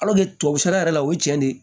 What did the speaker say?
tubabu sɛnɛ yɛrɛ la o ye cɛn de ye